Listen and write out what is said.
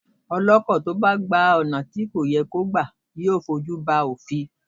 Ọlọ́kọ̀ tí ó bá gba ọ̀nà ibi tí kò yẹ kó gbà yóò fojú ba òfin.